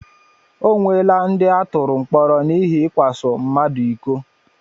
O nweela ndị atụrụ mkpọrọ n'ihi ikwaso mmadụ iko.